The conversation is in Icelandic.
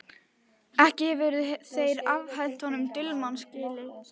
Ekki hefðu þeir afhent honum dulmálslykil.